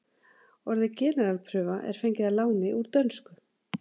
orðið generalprufa er fengið að láni úr dönsku